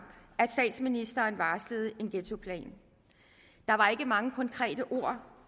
at statsministeren varslede en ghettoplan der var ikke mange konkrete ord